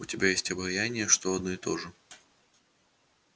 у тебя есть обаяние или по крайней мере репутация авантюриста что одно и то же